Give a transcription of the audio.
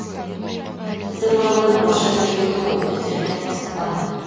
біздің балалар орысша сөйлейді ғой өздері де қызықпады